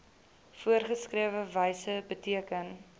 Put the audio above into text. voorgeskrewe wyse beteken